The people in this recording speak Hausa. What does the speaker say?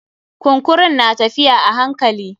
Kunkurun na tafiya a hankali.